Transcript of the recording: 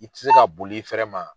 I tɛ se ka boli i fɛrɛ ma.